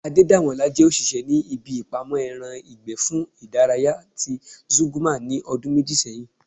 Adedamola jẹ́ òṣìṣẹ́ ní ibi ìpamọ́ ẹran ìgbẹ́ fún ìdárayá ti Zúgúrmà ní ọdún méjì sẹ́yìn